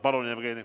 Palun, Jevgeni!